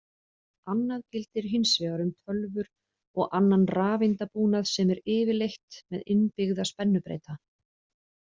Annað gildir hins vegar um tölvur og annan rafeindabúnað sem er yfirleitt með innbyggða spennubreyta.